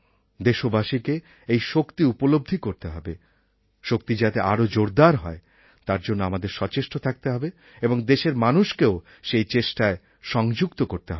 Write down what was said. দেশবাসীকে এই শক্তি উপলব্ধি করতে হবে শক্তি যাতে আরও জোরদার হয় তার জন্য আমাদের সচেষ্ট থাকতে হবে এবং দেশের মানুষকেও সেই চেষ্টায় সংযুক্ত করতে হবে